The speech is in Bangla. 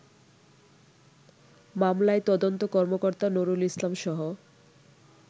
মামলায় তদন্ত কর্মকর্তা নুরুল ইসলামসহ